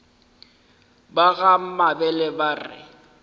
ba ga mabele ba re